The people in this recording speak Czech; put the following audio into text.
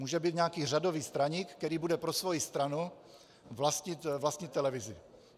Může být nějaký řadový straník, který bude pro svou stranu vlastnit televizi.